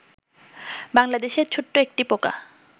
বাংলাদেশের ছোট্ট একটি পোকা